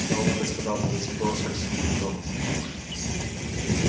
кто вам это сказал повысив голос спросил дин томас